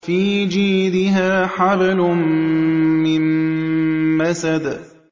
فِي جِيدِهَا حَبْلٌ مِّن مَّسَدٍ